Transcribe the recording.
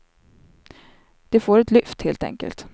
De får ett lyft, helt enkelt.